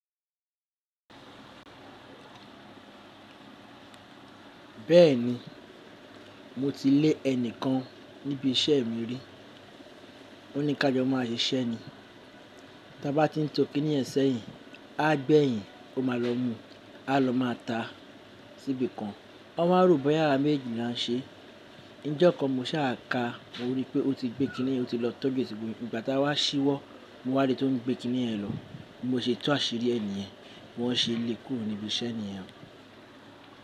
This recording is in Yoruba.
Bẹ́ẹ̀ni, mo ti lé ẹnìkan níbi iṣẹ́ mi rí. Ó ní ká jọ máa ṣiṣẹ́ ni. Ta bá ti ń tò kíní yen sẹ́yìn, a gbẹ̀yìn, ó máa lọ mú, a lọ má a ta síbi kan. Won wá roboya àwá méejejì là ń ṣe. Ǹì ìjọ̀kan mo ṣà ka mo rí pé ó ti gbé kiní yẹ́n lọ tóju e síbomi. Ìgbà tá a wá ṣíwọ́, mo wá rì tó ń gbé kiní yẹ́n lọ. Mo ṣe tu àṣírí ẹni ẹ̀, wọ́n ṣe lé e kúrò níbi iṣẹ́ nìyen.